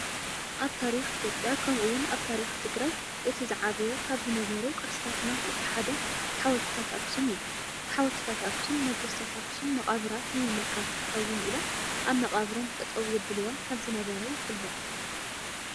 ኣብ ታሪክ ኢትዮጵያ ከምኡውን ኣብ ታሪክ ትግራይ እቲ ዝዓበየ ካብ ዝነበሩ ቅርስታትና እቲ ሓደ ሓወልትታት ኣክሱም እዩም። ሓወልትታት ኣክሱም ነገስታት ኣክሱም መቃብራት ንምምልካት ክኾውን ኢሎም ኣብ መቃብሮም ጠጠው የብልዎም ከም ዝነበረ ይፍለጥ።